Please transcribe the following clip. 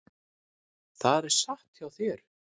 Það er satt hjá þér.